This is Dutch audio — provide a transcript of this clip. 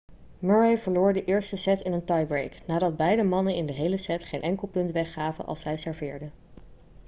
murray verloor de eerste set in een tiebreak nadat beide mannen in de hele set geen enkel punt weggaven als zij serveerden